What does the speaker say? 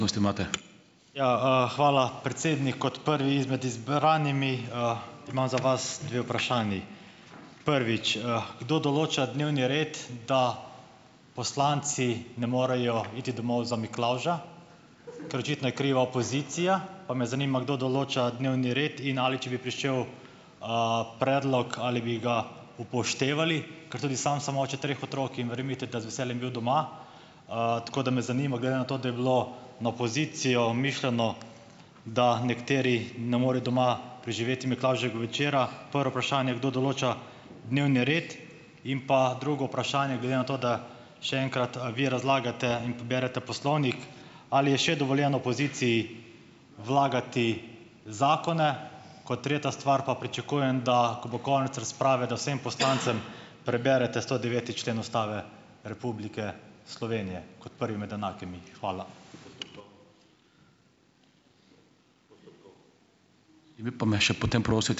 Ja, Hvala, predsednik. Kot prvi izmed izbranimi, imam za vas dve vprašanji. Prvič, kdo določa dnevni red, da poslanci ne morejo iti domov za miklavža, ker očitno je kriva opozicija. Pa me zanima, kdo določa dnevni red in ali, če bi prišel, predlog, ali bi ga upoštevali. Ker tudi sam sem oče treh otrok in verjemite, da z veseljem bil doma. Tako da me zanima, glede na to, da je bilo na opozicijo mišljeno, da nekateri ne morejo doma preživeti miklavževega večera. Prvo vprašanje, kdo določa dnevni red? In pa drugo vprašanje, glede na to, da še enkrat, a vi razlagate in berete poslovnik, ali je še dovoljeno opoziciji vlagati zakone? Kot tretja stvar pa, pričakujem, da ko bo konec razprave, da vsem poslancem preberete stodeveti člen Ustave Republike Slovenije kot prvi med enakimi. Hvala.